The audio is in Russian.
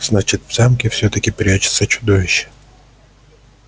значит в замке всё-таки прячется чудовище